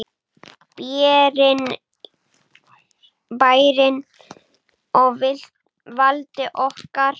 Bærinn á valdi okkar!